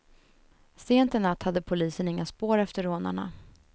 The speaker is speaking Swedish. Sent i natt hade polisen inga spår efter rånarna.